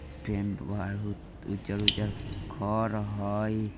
टेंट आर उज्जर - उज्जर घर हई|